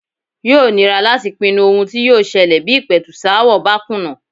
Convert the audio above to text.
Yóò nira láti pinnu ohun tí yóò ṣẹlẹ̀ bí ìpẹ̀tùsááwọ̀ bá kùnà.